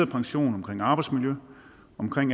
pension om arbejdsmiljø om